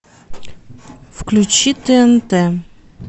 включи тнт